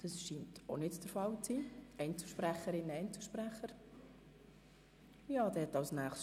Auch sie verlangen das Wort nicht und die Einzelsprecherinnen und Einzelsprecher ebenfalls nicht.